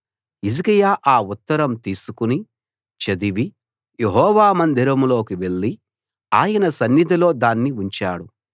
హిజ్కియా ఆ ఉత్తరం తీసుకుని చదివి యెహోవా మందిరంలోకి వెళ్లి ఆయన సన్నిధిలో దాన్ని ఉంచాడు